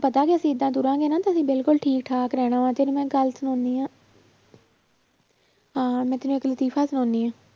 ਪਤਾ ਵੀ ਅਸੀਂ ਏਦਾਂ ਤੁਰਾਂਗੇ ਨਾ ਤੇ ਅਸੀਂ ਬਿਲਕੁਲ ਠੀਕ ਠਾਕ ਰਹਿਣਾ ਵਾ, ਤੈਨੂੰ ਮੈਂ ਗੱਲ ਸੁਣਾਉਂਦੀ ਹਾਂਂ ਅਹ ਮੈਂ ਤੈਨੂੰ ਇੱਕ ਲਤੀਫ਼ਾ ਸੁਣਾਉਂਦੀ ਹਾਂ